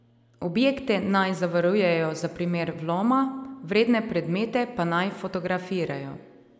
Objekte naj zavarujejo za primer vloma, vredne predmete pa naj fotografirajo.